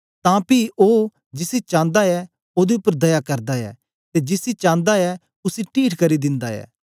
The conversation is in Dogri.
तां पी ओ जिसी चांदा ऐ ओदे उपर दया करदा ऐ ते जिसी चांदा ऐ उसी टीठ करी दिन्दा ऐ